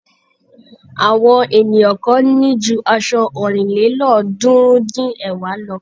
Àwọn ènìyàn kan ní ju aṣọ ọ̀rìnlélọ́ọ̀ọ́dúnrún-dín-ẹ̀wá lọ.